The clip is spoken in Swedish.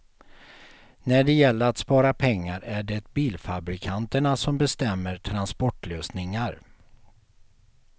När det gäller att spara pengar är det bilfabrikanterna som bestämmer transportlösningar.